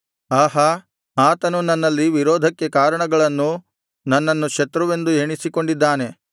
ಆಹಾ ಆತನು ನನ್ನಲ್ಲಿ ವಿರೋಧಕ್ಕೆ ಕಾರಣಗಳನ್ನು ನನ್ನನ್ನು ಶತ್ರುವೆಂದು ಎಣಿಸಿಕೊಂಡಿದ್ದಾನೆ